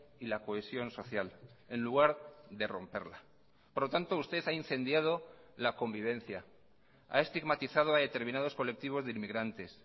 y la cohesión social en lugar de romperla por lo tanto usted ha incendiado la convivencia a estigmatizado a determinados colectivos de inmigrantes